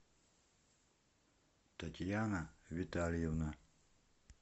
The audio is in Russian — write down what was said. татьяна витальевна